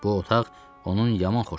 Bu otaq onun yaman xoşuna gəlir.